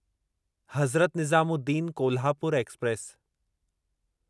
Hazrat Nizamuddin Kolhapur express